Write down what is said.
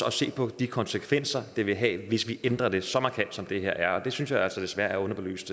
at se på de konsekvenser det vil have hvis vi ændrer det så markant som det her er og det synes jeg altså desværre er underbelyst